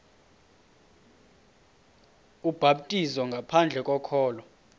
ubhaptizo ngaphandle kokholo